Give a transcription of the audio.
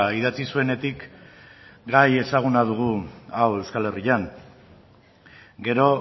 idatzi zuenetik gai ezaguna dugu hau euskal herrian gero